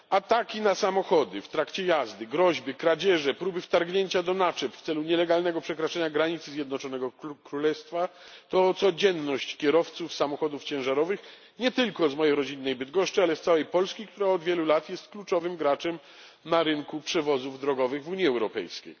Ataki na samochody w trakcie jazdy, groźby, kradzieże, próby wtargnięcia do naczep w celu nielegalnego przekroczenia granicy Zjednoczonego Królestwa to codzienność kierowców samochodów ciężarowych nie tylko z mojej rodzinnej Bydgoszczy, ale z całej Polski, która od wielu lat jest kluczowym graczem na rynku przewozów drogowych w Unii Europejskiej.